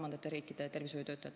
Austatud minister!